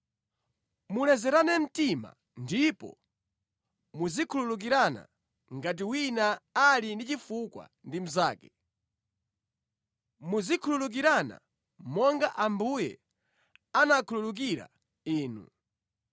Mulezerane mtima ndipo muzikhululukirana ngati wina ali ndi chifukwa ndi mnzake. Muzikhululukirana monga Ambuye anakhululukira inu.